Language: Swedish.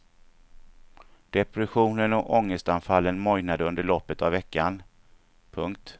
Depressionen och ångestanfallet mojnade under loppet av veckan. punkt